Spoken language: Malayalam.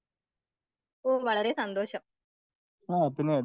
ഓ വളരെ സന്തോഷം.